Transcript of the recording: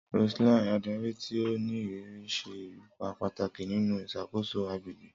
Roseline, adari ti o ni iriri, ṣe ipa pataki ninu iṣakoso agbegbe.